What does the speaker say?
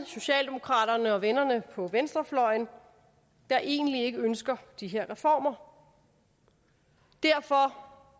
socialdemokraterne og vennerne på venstrefløjen der egentlig ikke ønsker de her reformer derfor